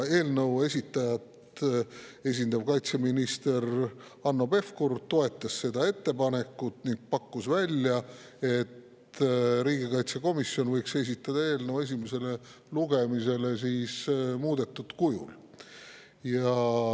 Eelnõu esitajat esindanud kaitseminister Hanno Pevkur toetas seda ettepanekut ning pakkus välja, et riigikaitsekomisjon võiks esitada eelnõu esimesele lugemisele muudetud kujul.